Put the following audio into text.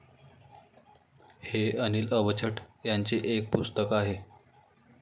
हे अनिल अवचट यांचे एक पुस्तक आहे.